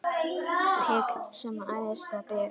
Tign sem æðsta ber.